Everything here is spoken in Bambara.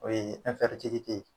O ye